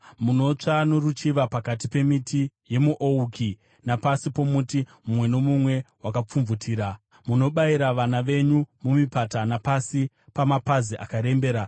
Munotsva noruchiva pakati pemiti yemuouki napasi pomuti mumwe nomumwe wakapfumvutira; munobayira vana venyu mumipata napasi pamapazi akarembera.